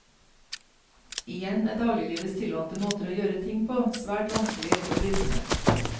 Igjen er dagliglivets tilvante måter å gjøre ting på svært vanskelige å bryte med.